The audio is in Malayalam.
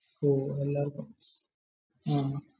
ഹും